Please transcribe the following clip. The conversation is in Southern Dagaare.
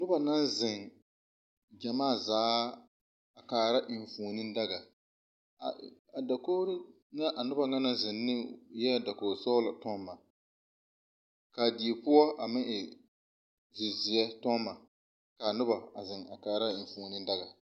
Nuba na zeŋ gyamaa zaa a kaara eŋfuoni daga. A , a dakoɔre na a nuba na naŋ zeŋ ne, eɛ dakoɔ sɔglɔ tɔŋma. Ka a die poʊ a meŋ e zi-zie tɔŋma. Ka a nuba a zeŋ kaara a eŋfuoni daga